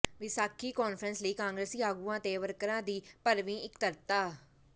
Vaisakhi conference ਲਈ ਕਾਂਗਰਸੀ ਆਗੂਆਂ ਤੇ ਵਰਕਰਾਂ ਦੀ ਭਰਵੀਂ ਇਕੱਤਰਤਾ